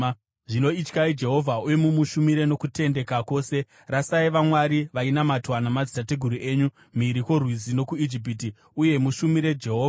“Zvino ityai Jehovha uye mumushumire nokutendeka kwose. Rasai vamwari vainamatwa namadzitateguru enyu mhiri kworwizi nokuIjipiti, uye mushumire Jehovha.